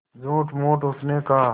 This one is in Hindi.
झूठमूठ उसने कहा